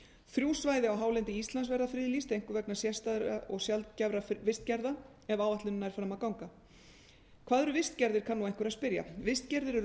þrjú svæði á hálendi íslands verða friðlýst einkum vegna sérstæðra og sjaldgæfra vistgerða ef áætlunin nær fram að ganga hvað eru vistgerðir kann nú einhver að spyrja vistgerðir eru